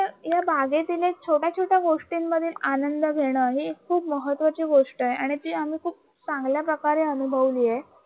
या बागेतील छोट्या छोट्या गोष्टींमध्ये आनंद घेण हे खूप महत्वाची गोष्ट आहे आणि ती खूप आम्ही चांगल्या प्रकारे अनुभवले आहे